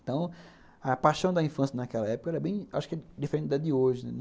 Então, a paixão da infância naquela época era bem, acho que, diferente da de hoje, né.